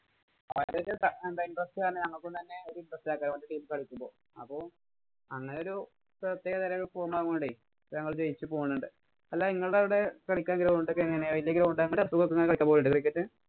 interest കാരണം ഞങ്ങള്‍ക്കൊന്നും തന്നെ ഒരു interest ആക്കാന്‍ വന്നു ഒരു team കളിക്കുമ്പോ. അപ്പൊ ഞങ്ങള് ജയിച്ചു പോകുന്നുണ്ട്. അല്ലാ നിങ്ങടെ അവിടെ കളിയ്ക്കാന്‍ ground എങ്ങനെയാ? വലിയാ ground ഒക്കെ എങ്ങനെയാ?